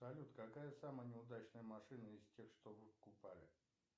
салют какая самая неудачная машина из тех что вы покупали